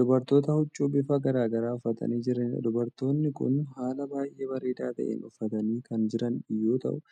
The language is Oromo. Dubartoota huccuu bifa garagaraa uffatanii jiraniidha. dubartoonni Kun haala baay'ee bareedaa ta'een uffatanii Kan Jiran yoo ta'u